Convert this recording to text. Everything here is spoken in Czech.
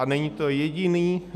A není to jediný.